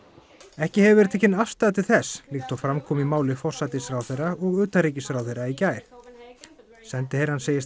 ekki hefur verið tekin afstaða til þess líkt og fram kom í máli forsætisráðherra og utanríkisráðherra í gær sendiherrann segist